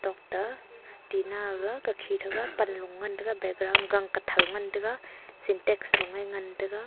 ta tina aga kakhi tega panlo ngan tega background gang kuthou ngan tega syntex loe ngan taga.